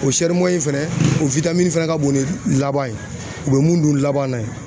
O fɛnɛ o fɛnɛ ka bon ni laban ye, u be mun don laban na.